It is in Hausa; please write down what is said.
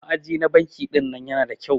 Ma'aji na banki ɗinnan Yana da kyau.